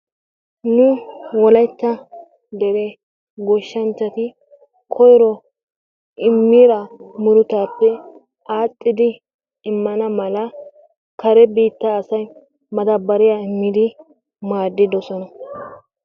Nu wolaytta dere goshshanchchati koyro immida murutappe aadhdhidi immana mala kare biittaa asay madabariyaa immidi maadiddoosona.